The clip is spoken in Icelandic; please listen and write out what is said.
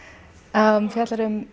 það fjallar um